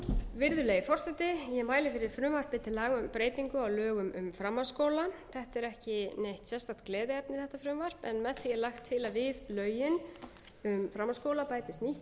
forseti ég mæli fyrir frumvarpi til laga um breytingu á lögum um framhaldsskóla þetta frumvarp er ekki neitt sérstakt gleðiefni en með því er lagt til að við lögin um framhaldsskóla bætist nýtt ákvæði